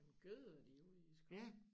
Gøder de ude i skoven?